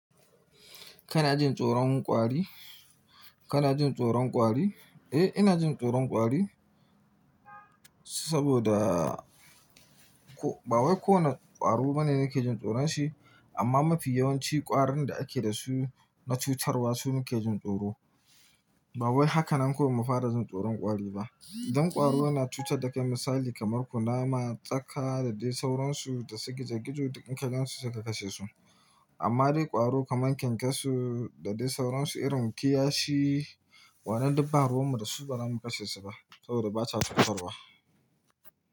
Kana jin tsoron ƙwari? Kana jin tsoron ƙwari? Eh, ina jin tsoron ƙwari saboda ko ba wai ko wane ƙwaro bane nake jin tsoron shi amma mafi yawanci ƙwarin da ake da su na cutarwa su ni ke jin tsoro. Ba wai haka nan kawai mu fara jin tsoron ƙwari ba. Dan ƙwaro yana cutar da kai misali kamar kunama, tsaka da dai sauransu da su gizo gizo duk inka gansu sai ka kashe su. Amma dai ƙwaro kamar kyankyasu da dai sauransu irin kiyashi, wayannan du ba ruwan mu da su baza mu kashe su ba saboda ba sa cutarwa.